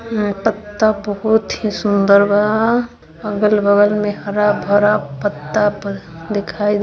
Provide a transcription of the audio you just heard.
यह पत्ता बहुत ही सुन्दर बा अगल बगल में हरा भरा पत्ता-प दिखाइ--